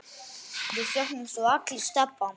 Við söknum svo allir Stebba.